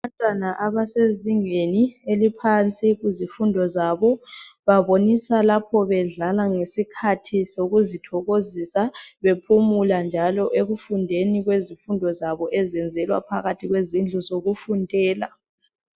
Abantwana abasezingeni eliphansi kuzifundo zabo babonisa lapho bedlala ngesikhathi sokuzithokozisa bephumula njalo ekufundeni kwezifundo zabo ezezelwa phakathi kwezindlu zokufundela